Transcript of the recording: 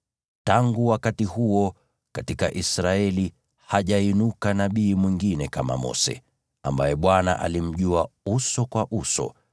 Tangu wakati huo, katika Israeli hajainuka nabii mwingine kama Mose, ambaye Bwana alimjua uso kwa uso,